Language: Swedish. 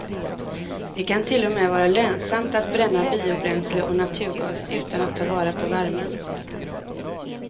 Det kan till och med vara lönsamt att bränna biobränsle och naturgas utan att ta vara på värmen.